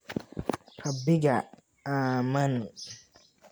Rabbiga ammaan